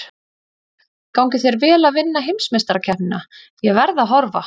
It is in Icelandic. Gangi þér vel að vinna heimsmeistarakeppnina, ég verð að horfa.